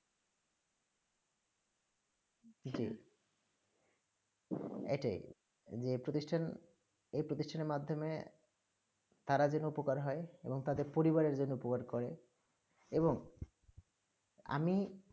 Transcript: জী এইটা ই যে প্রতিষ্ঠান এই প্রতিষ্ঠান মাধ্যমেই তারা জন্য উপকার হয়ে এবং তাদের পলৰীভাৱে জন্য উপকার করে এবং আমি